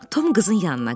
Tom qızın yanına qaçdı.